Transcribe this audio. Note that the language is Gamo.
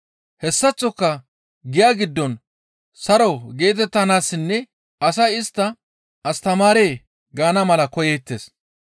Hessaththoka giya giddon saro geetettanaassinne asay istta, ‹Astamaaree!› gaana mala koyeettes.